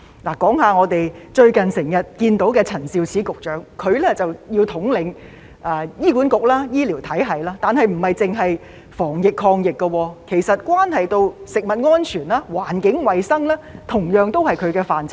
例如我們最近經常看到的陳肇始局長，她要統領醫院管理局和醫療體系，但當中不止是防疫抗疫工作，其實食物安全、環境衞生都是她負責的範疇。